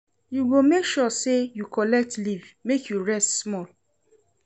You go make sure sey you collect leave make you rest small.